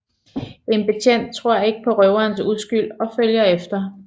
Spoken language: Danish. En betjent tror ikke på røverens uskyld og følger efter